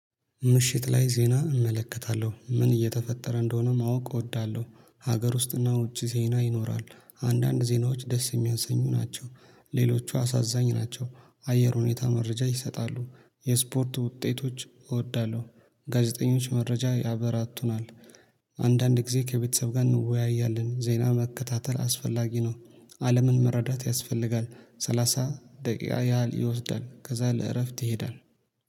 ምሽት ላይ ዜና እመለከታለሁ ምን እየተፈጠረ እንደሆነ ማወቅ እወዳለሁ ሀገር ውስጥና ውጪ ዜና ይኖራል። አንዳንድ ዜናዎች ደስ የሚያንስኙ ናቸው። ሌሎቹ አሳዛኝ ናቸው። አየር ሁኔታ መረጃ ይሰጣሉ የስፖርት ውጤቶች እወዳለሁ ጋዜጠኞች መረጃ ያበራቱናል። አንዳንድ ጊዜ ከቤተሰብ ጋር እንወያያለን ዜና መከታተል አስፈላጊ ነው። አለምን መረዳት ያስፈልጋል። ሰላሳ ደቂቃ ያህል ይወስዳል ከዛ ለእረፍት ይሄዳል